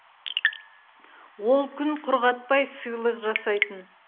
ол күн құрғатпай сыйлық жасайтын